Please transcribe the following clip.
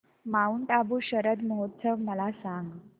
Mount Abu शरद महोत्सव मला सांग